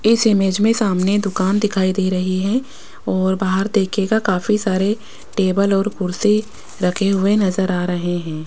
इस इमेज में सामने दुकान दिखाई दे रही है और बाहर देखिएगा काफी सारे टेबल और कुर्सी रखे हुए नज़र आ रहे हैं।